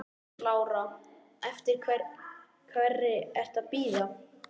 Lára: Eftir hverri ertu að bíða?